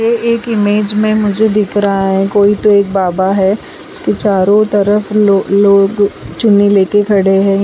ये एक इमेज में मुझे दिख रहा है कोई तो एक बाबा है उसके चारों तरफ लो लोग चुनरी लेके खड़े है।